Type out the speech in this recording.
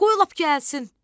Qoy lap gəlsin.